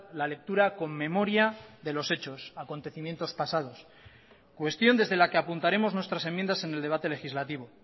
la lectura con memoria de los hechos acontecimientos pasados cuestión desde la que apuntaremos nuestras enmiendas en el debate legislativo